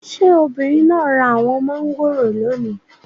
Ṣé obìnrin náà ra àwọn mangoro lónìí?